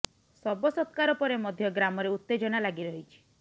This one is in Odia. ଶବ ସତ୍କାର ପରେ ମଧ୍ୟ ଗ୍ରାମରେ ଉତେଜନା ଲାଗି ରହିଛି